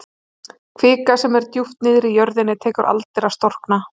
Kvika sem er djúpt niðri í jörðinni tekur aldir að storkna.